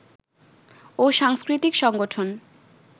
ও সাংস্কৃতিক সংগঠন